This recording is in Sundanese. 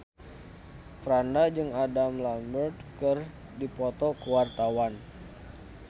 Franda jeung Adam Lambert keur dipoto ku wartawan